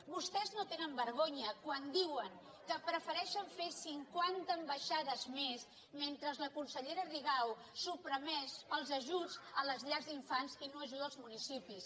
vostès no tenen vergonya quan diuen que prefereixen fer cinquanta ambaixades més mentre la consellera rigau suprimeix els ajuts a les llars d’infants i no ajuda els municipis